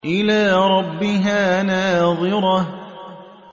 إِلَىٰ رَبِّهَا نَاظِرَةٌ